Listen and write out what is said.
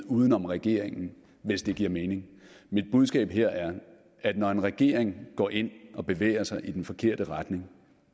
uden om regeringen hvis det giver mening mit budskab her er at når en regering går ind og bevæger sig i den forkerte retning